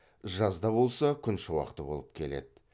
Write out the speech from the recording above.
жазда болса күншуақты болып келеді